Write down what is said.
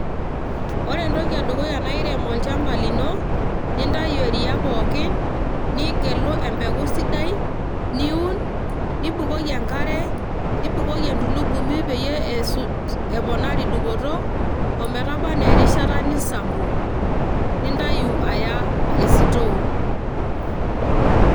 ore entoki edukuya naa irem olchamba lino nintayu eriaa pookin, nigelu empeku sidai niun nibukoki enkare nibukoki entulugumi peyie eponari dupoto ometaba anaa erishsta nisampu nintayu aya esitoo.